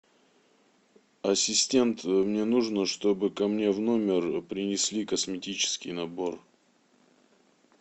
ассистент мне нужно чтобы ко мне в номер принесли косметический набор